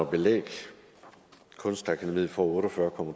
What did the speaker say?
belæg kunstakademiet får otte og fyrre